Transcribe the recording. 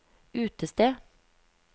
utested